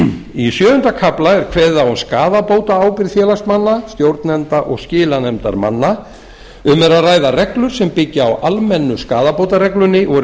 í sjöunda kafla er kveðið á um skaðabótaábyrgð félagsmanna stjórnenda og skilanefndarmanna um er að ræða reglur sem byggjast á almennu skaðabótareglunni og eru